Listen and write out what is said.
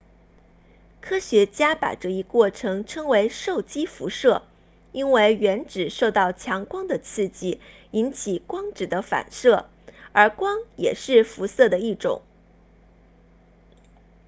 科学家把这一过程称为受激辐射因为原子受到强光的刺激引起光子的发射而光也是辐射的一种